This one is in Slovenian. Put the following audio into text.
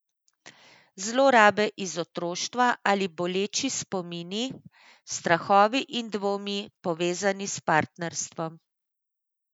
Zlorabe iz otroštva ali boleči spomini, strahovi in dvomi, povezani s partnerstvom.